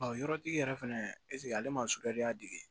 Ɔ yɔrɔtigi yɛrɛ fɛnɛ ale ma